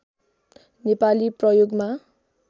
नेपाली प्रयोगमा